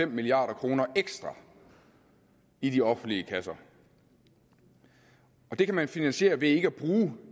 en milliard kroner ekstra i de offentlige kasser og det kan man finansiere ved ikke at bruge